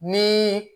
Ni